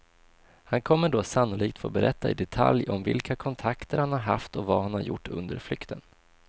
Han kommer då sannolikt få berätta i detalj om vilka kontakter han har haft och vad han har gjort under flykten.